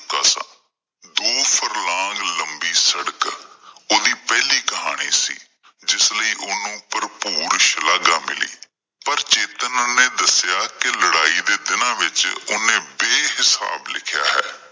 ਦੋ ਫ਼ਰਲਾਗ ਲੰਬੀ ਸੜਕ ਉਹ ਦੀ ਪਹਿਲੀ ਕਹਾਣੀ ਸੀ, ਜਿਸ ਲਈ ਉਸ ਨੂੰ ਭਰਪੂਰ ਸ਼ਲਾਘਾ ਮਿਲੀ ਪਰ ਚੇਤਨ ਨੇ ਦੱਸਿਆ ਕਿ ਲੜਾਈ ਦੇ ਦਿਨਾਂ ਵਿੱਚ ਉਹ ਨੇ ਬੇਹਿਸਾਬ ਲਿਖਿਆਂ ਹੈ।